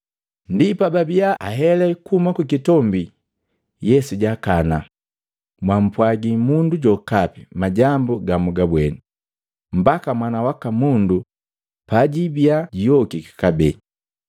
Ndi pababia ahelee kuhuma kukitombi, Yesu jaakana, “Mwampwagi mundu jokapi majambu gamugabweni, mbaka Mwana waka Mundu pajiibia juyokiki kabee.”